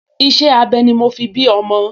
Iṣẹ́-abẹ ni mo fi bí ọmọ